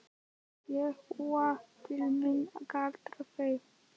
Ég úa til mín galdur þeirra.